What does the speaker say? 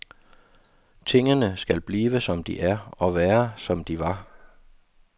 Tingene skal blive, som de er, og være, som de var.